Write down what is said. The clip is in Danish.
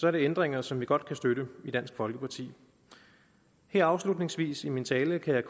er det ændringer som vi godt kan støtte i dansk folkeparti her afslutningsvis i min tale kan